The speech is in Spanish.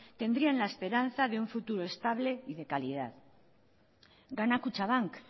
tendrían la esperanza de un futuro estable y de calidad gana kutxabank